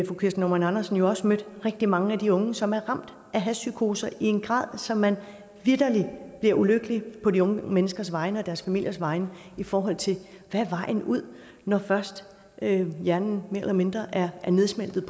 fru kirsten normann andersen også mødt rigtig mange af de unge som er ramt af hashpsykoser i en grad så man vitterlig bliver ulykkelig på de unge menneskers vegne og på deres familiers vegne i forhold til hvad vejen er ud når først hjernen mere eller mindre er nedsmeltet